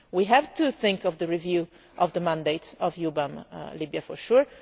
ground. We have to think of the review of the mandate of Libya, for